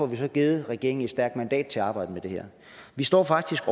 vi får givet regeringen et stærkt mandat til at arbejde med det her vi står faktisk